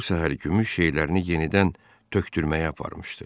O bu səhər gümüş şeylərini yenidən tökdürməyə aparmışdı.